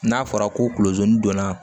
N'a fɔra ko kulo zon donna